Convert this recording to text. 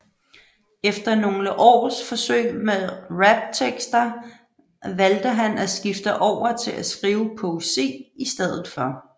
Efter nogle års forsøg med raptekster valgte han at skifte over til at skrive poesi i stedet for